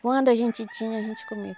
Quando a gente tinha, a gente comia.